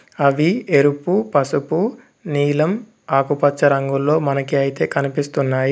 అవి ఎరుపు పసుపు నీలం ఆకుపచ్చ రంగుల్లో మనకి అయితే కనిపిస్తున్నాయి.